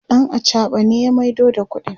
ɗan achaɓa ne ya maido da ƙuɗin